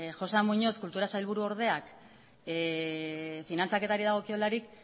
joxean muñoz kultura sailburuordeak finantzaketari dagokiolarik